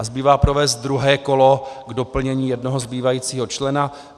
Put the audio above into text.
A zbývá provést druhé kolo k doplnění jednoho zbývajícího člena.